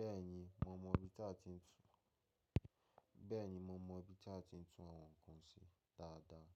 Bẹ́ẹ̀ni, mo mọ ibi tí a ti ń tún, bẹ́́ẹ̀ni mo mọ ibi tí a ti ń tún àwọn nǹkan ṣe dáadáa.